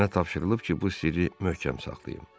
Mənə tapşırılıb ki, bu sirri möhkəm saxlayım.